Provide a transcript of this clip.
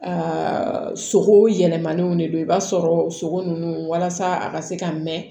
Aa sogo yɛlɛmaniw de don i b'a sɔrɔ sogo nunnu walasa a ka se ka mɛn